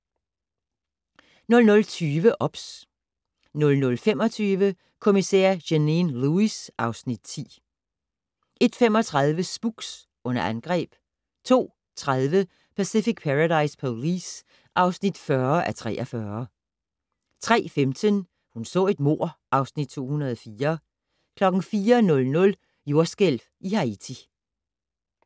00:20: OBS 00:25: Kommissær Janine Lewis (Afs. 10) 01:35: Spooks: Under angreb 02:30: Pacific Paradise Police (40:43) 03:15: Hun så et mord (Afs. 204) 04:00: Jordskælv i Haiti